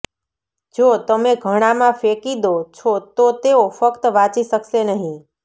જો તમે ઘણાંમાં ફેંકી દો છો તો તેઓ ફક્ત વાંચી શકશે નહીં